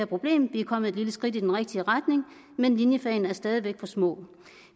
problemet vi er kommet et lille skridt i den rigtige retning men linjefagene er stadig væk for små